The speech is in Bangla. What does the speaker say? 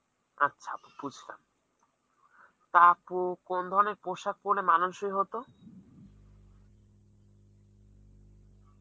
আচ্ছা বুজলাম, টা আপ্পু কোন ধরনের পোশাক পড়লে মানানসই হত ?